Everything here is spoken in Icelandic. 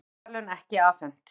Friðarverðlaun ekki afhent